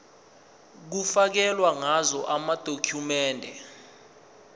kufakelwe ngazo amadokhumende